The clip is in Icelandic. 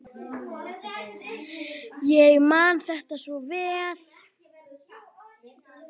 Ég man þetta svo vel.